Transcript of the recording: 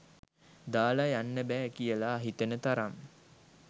දාලා යන්න බෑ කියලා හිතෙන තරම්